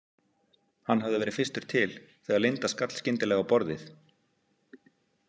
Hann hafði verið fyrstur til þegar Linda skall skyndilega á borðið.